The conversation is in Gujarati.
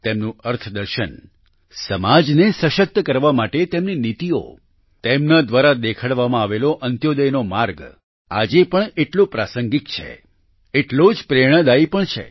તેમનું અર્થદર્શન સમાજને સશક્ત કરવા માટે તેમની નીતિઓ તેમના દ્વારા દેખાડવામાં આવેલો અંત્યોદયનો માર્ગ આજે પણ એટલો પ્રાસંગિક છે તેટલો જ પ્રેરણાદાયી પણ છે